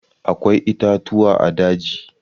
Akwai itatuwa a daji.